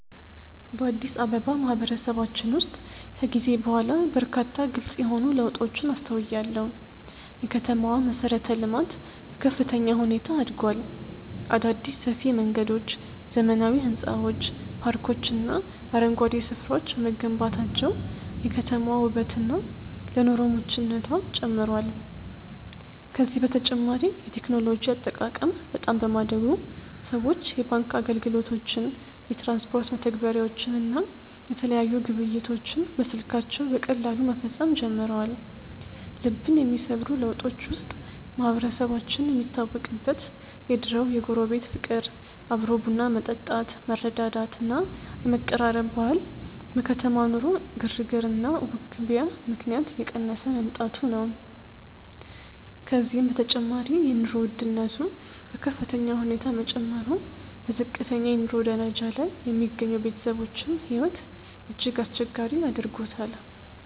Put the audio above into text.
በአዲስ አበባ ማህበረሰባችን ውስጥ ከጊዜ በኋላ በርካታ ግልጽ የሆኑ ለውጦችን አስተውያለሁ። የከተማዋ መሠረተ-ልማት በከፍተኛ ሁኔታ አድጓል። አዳዲስ ሰፊ መንገዶች፣ ዘመናዊ ሕንፃዎች፣ ፓርኮችና አረንጓዴ ስፍራዎች በመገንባታቸው የከተማዋ ውበትና ለኑሮ ምቹነቷ ጨምሯል። ከዚህም በተጨማሪ የቴክኖሎጂ አጠቃቀም በጣም በማደጉ ሰዎች የባንክ አገልግሎቶችን፣ የትራንስፖርት መተግበሪያዎችን እና የተለያዩ ግብይቶችን በስልካቸው በቀላሉ መፈጸም ጀምረዋል። ልብን የሚሰብሩ ለውጦች ውስጥ ማህበረሰባችን የሚታወቅበት የድሮው የጎረቤት ፍቅር፣ አብሮ ቡና መጠጣት፣ መረዳዳት እና የመቀራረብ ባህል በከተማ ኑሮ ግርግርና ውክቢያ ምክንያት እየቀነሰ መምጣቱ ነው። ከዚህም በተጨማሪ የኑሮ ውድነቱ በከፍተኛ ሁኔታ መጨመሩ በዝቅተኛ የኑሮ ደረጃ ላይ የሚገኙ ቤተሰቦችን ሕይወት እጅግ አስቸጋሪ አድርጎታል።